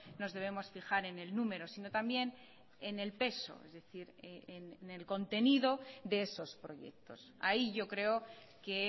nos debemos fijar en el número sino también en el peso es decir en el contenido de esos proyectos ahí yo creo que